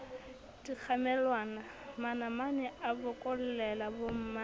dikgamelwana manamane a bokollela bomma